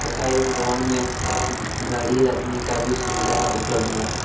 तथा इस भवन में गाड़ी रखने का भी सुविधा उपलब्ध है।